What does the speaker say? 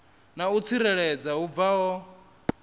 na u tsireledzea hu bvaho